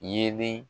Yelen